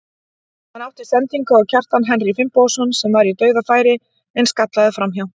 Hann átti sendingu á Kjartan Henry Finnbogason sem var í dauðafæri en skallaði framhjá.